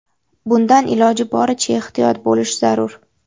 Bundan iloji boricha ehtiyot bo‘lish zarur.